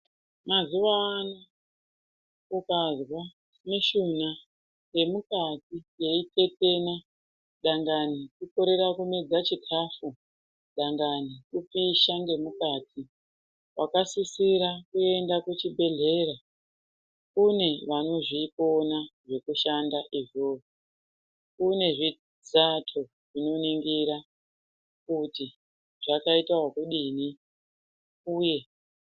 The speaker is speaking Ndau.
Mazuwano ukazwa mishuna yemukati yeitetena dangani kukorera kumedza chikafu dangani kupisha ngemukati wakasisira kuenda kuchibhedhehlera kune vanozvikona zvekushanda izvozvo, kune zvitsato zvinoningira kuti zvakaita okudini uye.